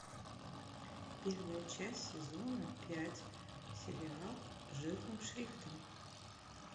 первая часть сезона пять сериал жирным шрифтом